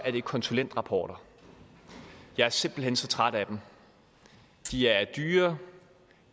er det konsulentrapporter jeg er simpelt hen så træt af dem de er dyre